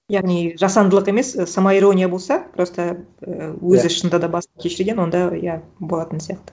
яғни жасандылық емес самоирония болса просто і өзі шынында да басынан кешірген онда иә болатын сияқты